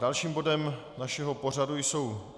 Dalším bodem našeho pořadu jsou